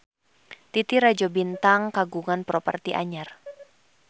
Titi Rajo Bintang kagungan properti anyar